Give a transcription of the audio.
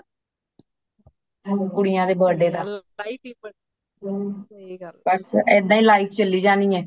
ਕੁੜੀਆਂ ਦੇ birthday ਦਾ ਬੱਸ ਏਦਾਂ ਹੀ life ਚੱਲੀ ਜਾਣੀ ਏ